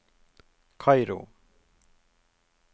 Kairo